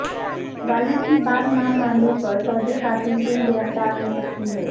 والد کی بات نہ ماننے پر سعودی خاتون کیوں گرفتار ہو سکتی ہیں